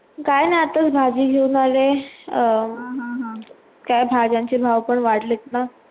काय नाही आतास भाजी कहा घेऊन आली अं काय भाज्यांचे भाव वाढलेला